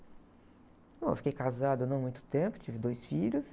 Bom, eu fiquei casada não muito tempo, tive dois filhos.